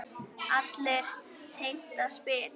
Allir heimta spil.